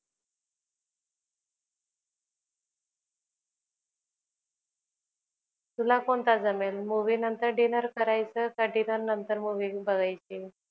तुला कोणता जमेल? movie नंतर dinner करायचा का? dinner का नंतर movie बघायची?